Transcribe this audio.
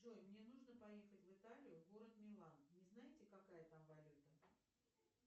джой мне нужно поехать в италию город милан не знаете какая там валюта